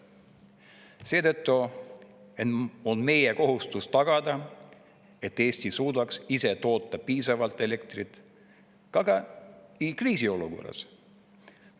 Seetõttu on meie kohustus tagada, et Eesti suudaks ise toota piisavalt elektrit ka kriisiolukorras.